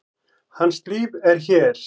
Hans líf er hér.